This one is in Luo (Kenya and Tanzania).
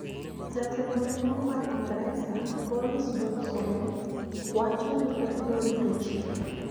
Jatelo maduong` mar Ingresa, Boris Johnson, wacho ni obiro rito chike